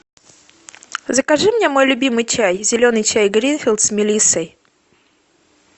закажи мне мой любимый чай зеленый чай гринфилд с мелиссой